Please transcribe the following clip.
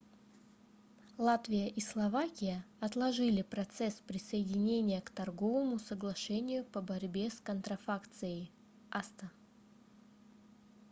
латвия и словакия отложили процесс присоединения к торговому соглашению по борьбе с контрафакцией acta